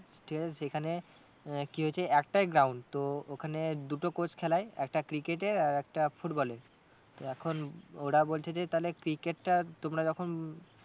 ঠিক আছে সেখানে আহ কি হয়েছে একটাই ground তো ওখানে দুটো coach খেলায় একটা cricket এর আর একটা football এর তো এখন ওরা বলছে যে cricket টা তোমরা যখন